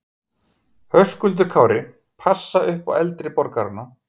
Höskuldur Kári: Passa upp á eldri borgarana?